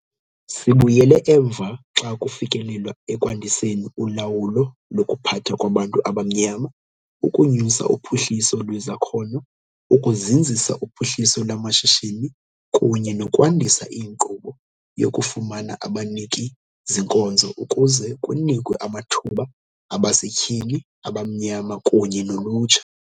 Sibuyele emva xa kufikelelwa ekwandiseni ulawulo lokuphatha kwabantu abamnyama, ukunyusa uphuhliso lwezakhono, ukuzinzisa uphuhliso lwamashishini kunye nokwandisa inkqubo yokufumana abaniki-zinkonzo ukuze kunikwe amathuba abasetyhini abamnyama kunye nolutsha.